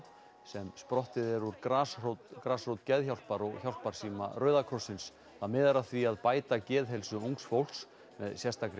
sem sprottið er úr grasrót grasrót Geðhjálpar og hjálparsíma Rauða krossins það miðar að því að bæta geðheilsu ungs fólks með sérstakri